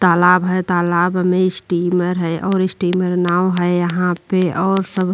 तालाब है। तालाब में स्टीमर है और स्टीमर नाव है यहाँ पे और सब --